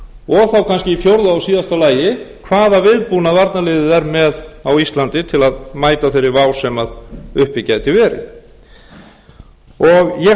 og þá kannski í fjórða og síðasta lagi hvaða viðbúnað varnarliðið er með á íslandi til að mæta þeirri vá sem uppi gæti verið ég held að það hafi